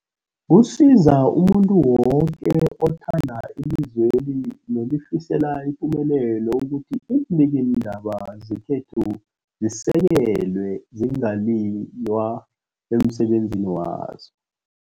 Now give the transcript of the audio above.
Kusiza umuntu woke othanda ilizweli nolifisela ipumelelo ukuthi iimbikiindaba zekhethu zisekelwe, zingaliywa emsebenzini wazo.